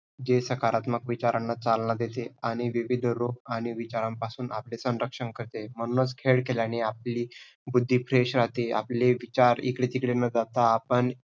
जे सकारात्मक विचारांना चालना देते आणि विविध रोग आणि विचारांपासून आपले संरक्षण करते. म्हणूनच खेळ खेळल्याने आपली बुद्धी fresh राहते. आपले विचार इकडे तिकडे न जाता आपण